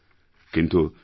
কিন্তু নোবেল